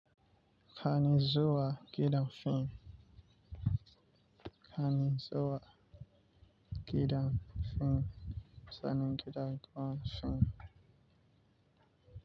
Kana zuwa gidan film? Kani zuwa gidan film? Sani gidan gon fim.